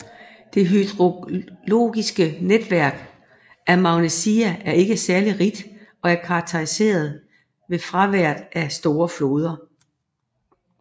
Det hydrologiske netværk af Magnesia er ikke særlig rigt og er karakteriseret ved fraværet af store floder